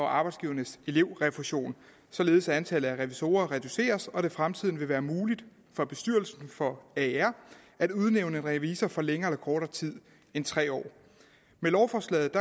arbejdsgivernes elevrefusion således at antallet af revisorer reduceres og det i fremtiden vil være muligt for bestyrelsen for aer at udnævne revisor for længere eller kortere tid end tre år med lovforslaget